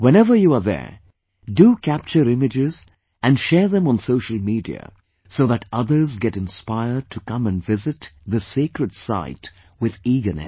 Whenever you are there, do capture images and share them on social media so that others get inspired to come & visit this sacred site with eagerness